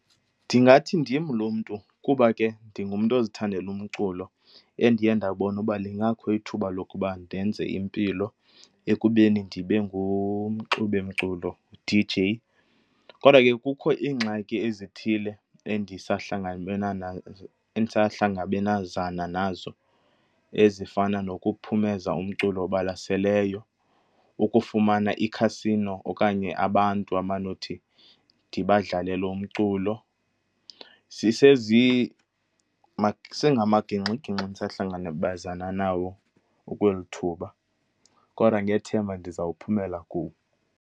Ndingathi ndim loo mntu kuba ke ndingumntu ozithandela umculo endiye ndabona uba lingakho ithuba lokuba ndenze impilo ekubeni ndibe ngumxubimculo, uD_J. Kodwa ke kukho iingxaki ezithile endisahlangabenazana nazo ezifana nokuphumeza umculo obalaseleyo, ukufumana ikhasino okanye abantu abanothi ndibadlalele umculo. Isengamagingxigingxi endisahlangabezana nawo okweli thuba, kodwa ngethemba ndizawuphumela kuwo.